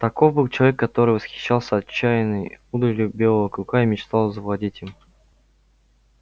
таков был человек который восхищался отчаянной удалью белого клыка и мечтал завладеть им